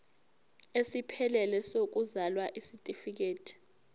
esiphelele sokuzalwa isitifikedi